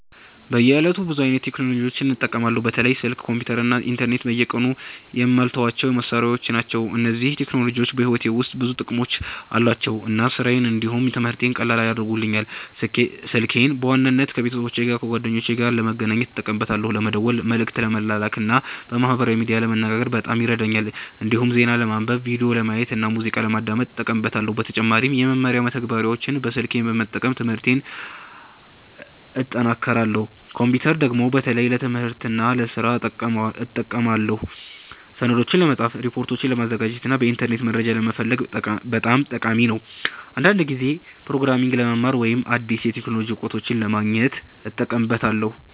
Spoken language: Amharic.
በየዕለቱ ብዙ አይነት ቴክኖሎጂዎችን እጠቀማለሁ። በተለይም ስልክ፣ ኮምፒተር እና ኢንተርኔት በየቀኑ የማልተዋቸው መሳሪያዎች ናቸው። እነዚህ ቴክኖሎጂዎች በሕይወቴ ውስጥ ብዙ ጥቅሞች አሏቸው እና ስራዬን እንዲሁም ትምህርቴን ቀላል ያደርጉልኛል። ስልኬን በዋናነት ከቤተሰብና ከጓደኞቼ ጋር ለመገናኘት እጠቀማለሁ። ለመደወል፣ መልእክት ለመላክ እና በማህበራዊ ሚዲያ ለመነጋገር በጣም ይረዳኛል። እንዲሁም ዜና ለማንበብ፣ ቪዲዮ ለማየት እና ሙዚቃ ለማዳመጥ እጠቀምበታለሁ። በተጨማሪም የመማሪያ መተግበሪያዎችን በስልኬ በመጠቀም ትምህርቴን እጠናክራለሁ። ኮምፒተርን ደግሞ በተለይ ለትምህርትና ለስራ እጠቀማለሁ። ሰነዶችን ለመጻፍ፣ ሪፖርቶችን ለማዘጋጀት እና በኢንተርኔት መረጃ ለመፈለግ በጣም ጠቃሚ ነው። አንዳንድ ጊዜም ፕሮግራሚንግ ለመማር ወይም አዲስ የቴክኖሎጂ እውቀቶችን ለማግኘት እጠቀምበታለሁ።